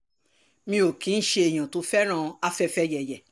mi ò kì í ṣe èèyàn tó fẹ́ràn afẹfẹyẹ̀yẹ̀